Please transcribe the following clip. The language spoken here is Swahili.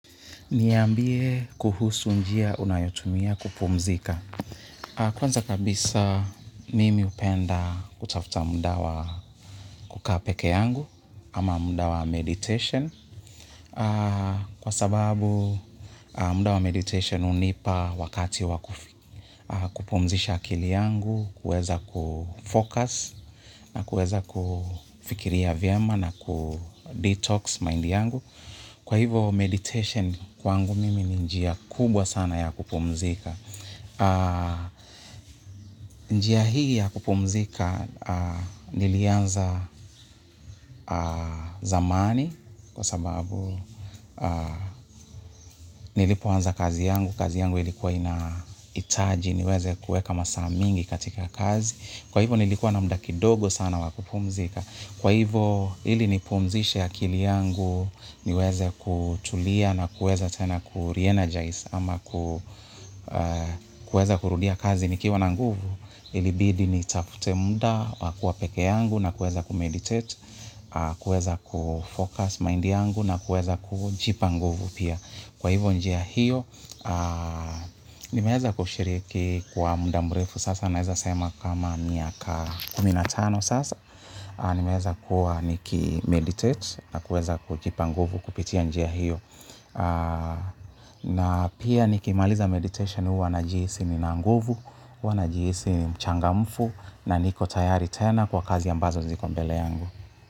Niyambie kuhusu njia unayotumia kupumzika. Kwanza kabisa mimi hupenda kutafuta muda wa kukaa pekee yangu ama muda wa meditation. Kwa sababu muda wa meditation hunipa wakati wa kufi kupumzisha akili yangu, kueza kufocus na kueza kufikiria vyema na kudetox mind yangu. Kwa hivo meditation kwangu mimi njia kubwa sana ya kupumzika. Njia hii ya kupumzika nilianza zamani kwa sababu nilipoanza kazi yangu, kazi yangu ilikuwa inahitaji, niweze kueka masaa mingi katika kazi. Kwa hivo nilikuwa na muda kidogo sana wa kupumzika. Kwa hivo ili nipumzishe akili yangu niweze kutulia na kuweza tena kurenergize ama kuweza kurudia kazi nikiwa na nguvu ilibidi nitafute muda wa kua pekee yangu na kuweza kumeditate, kuweza kufocus mind yangu na kuweza kujipa nguvu pia. Kwa hivo njia hiyo, nimeeza kushiriki kwa muda mrefu sasa, naeza sema kama miaka kumi na tano sasa, nimeeza kuwa nikimeditate na kuweza kujipa nguvu kupitia njia hiyo. Na pia nikimaliza meditation huwa najisi nina nguvu, huwa najisi ni mchangamfu, na niko tayari tena kwa kazi ambazo ziko mbele yangu.